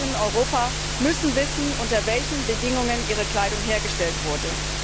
Verbraucher in Europa müssen wissen, unter welchen Bedingungen ihre Kleidung hergestellt wurde.